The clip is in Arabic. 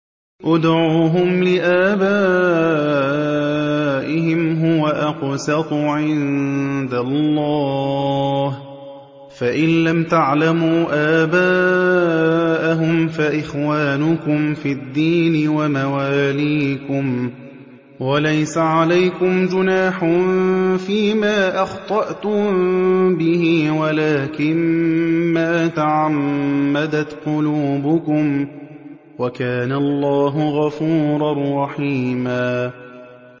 ادْعُوهُمْ لِآبَائِهِمْ هُوَ أَقْسَطُ عِندَ اللَّهِ ۚ فَإِن لَّمْ تَعْلَمُوا آبَاءَهُمْ فَإِخْوَانُكُمْ فِي الدِّينِ وَمَوَالِيكُمْ ۚ وَلَيْسَ عَلَيْكُمْ جُنَاحٌ فِيمَا أَخْطَأْتُم بِهِ وَلَٰكِن مَّا تَعَمَّدَتْ قُلُوبُكُمْ ۚ وَكَانَ اللَّهُ غَفُورًا رَّحِيمًا